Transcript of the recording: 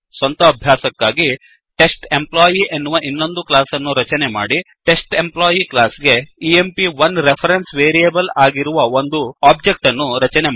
ಸ್ವಂತ ಅಭ್ಯಾಸಕ್ಕಾಗಿ ಟೆಸ್ಟೆಂಪ್ಲಾಯಿ ಎನ್ನುವ ಇನ್ನೊಂದು ಕ್ಲಾಸ್ ಅನ್ನು ರಚನೆ ಮಾಡಿ ಟೆಸ್ಟೆಂಪ್ಲಾಯಿ ಕ್ಲಾಸ್ ಗೆ ಎಂಪ್1 ರೆಫರೆನ್ಸ್ ವೇರಿಯೇಬಲ್ ಆಗಿರುವ ಒಂದು ಒಬ್ಜೆಕ್ಟ್ ಅನ್ನು ರಚನೆ ಮಾಡಿ